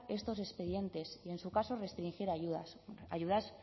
estos expedientes y en su caso restringir